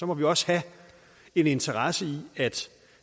må vi også have en interesse i at